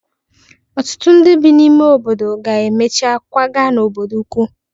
Ọtụtụ ndị bi n'ime ime obodo ga-emecha kwaga n'obodo ukwu